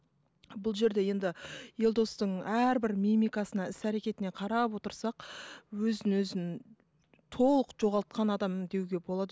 бұл жерде енді елдостың әрбір мимикасына іс әрекетіне қарап отырсақ өзін өзін толық жоғалтқан адам деуге болады